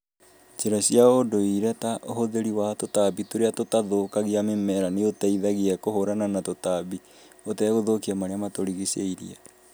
Njĩra cia ũũndũire ta ũhũthiri wa tũtambi tũria tũtathukagia mĩmera ni ũteithagia kũhũrana na tũtambi ũtegũthũkia marĩa matũrigicĩirie.